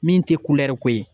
Min tɛ ko ye.